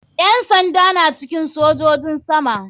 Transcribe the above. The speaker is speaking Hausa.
Yan sanda na cikin sojojin sama